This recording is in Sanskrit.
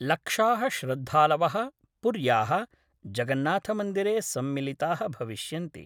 लक्षा: श्रद्धालव: पुर्या: जगन्नाथमन्दिरे सम्मिलिता: भविष्यन्ति।